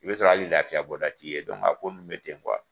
I be sɔrɔ ali lafiya bɔda' t'i ye dɔnku a ko nun be ten kuwa